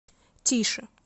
тише